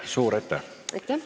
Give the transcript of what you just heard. Suur aitäh!